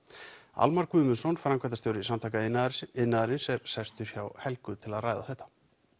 Almar Guðmundsson framkvæmdastjóri Samtaka iðnaðarins iðnaðarins er sestur hjá Helgu til að ræða þetta